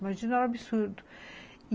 Imagina, era um absurdo.